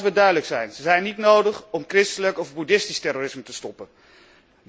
Laten we duidelijk zijn ze zijn niet nodig om christelijk of boeddhistisch terrorisme tegen te gaan.